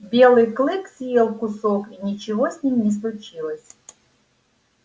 белый клык съел кусок и ничего с ним не случилось